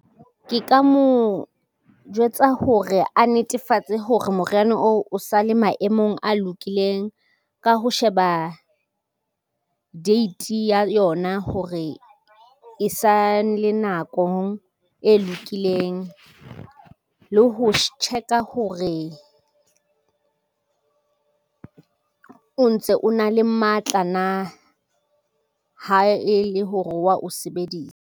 Ke ka mo jwetsa hore a netefatse hore moriana oo o sale maemong a lokileng ka ho sheba, date ya yona hore e sa le nakong e lokileng le ho check-a hore, o ntse o na le matla na ha e le hore wa o sebedisa.